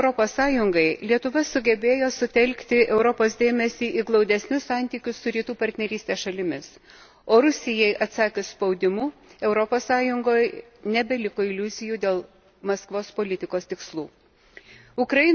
Pirmininkaudama Europos Sąjungai, Lietuva sugebėjo sutelkti Europos dėmesį į glaudesnius santykius su Rytų partnerystės šalimis, o Rusijai atsakius spaudimu, Europos Sąjungoje nebeliko iliuzijų dėl Maskvos politikos tikslų.